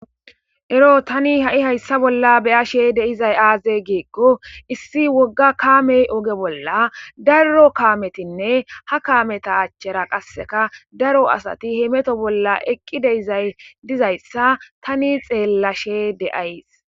Ero tani ha'i hayssa bolla beya she deizay aaze geekko issi wogga kaamey oge bolla daro kaametinne ha kaameta achchera qasseka daro asati hemeto bolla eqqi deizay dizayssa tani xeellashe deays.